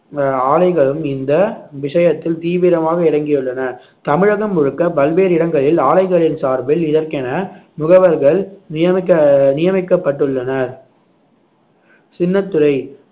அஹ் ஆலைகளும் இந்த விஷயத்தில் தீவிரமாக இறங்கியுள்ளனர் தமிழகம் முழுக்க பல்வேறு இடங்களில் ஆலைகளின் சார்பில் இதற்கென முகவர்கள் நியமிக்க~ நியமிக்கப்பட்டுள்ளனர் சின்னத்துரை